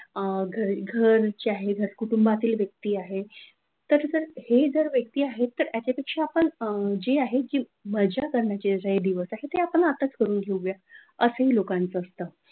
अ घरचा आहे कुटुंबातील व्यक्ती आहे, तर असं हे जे व्यक्ती आहे त्याच्यापेक्षा आपण जे आहे किंवा मजा करण्याचे दिवस आहेत आपण आत्ताच करून घेऊया लोकांचा ही असतं.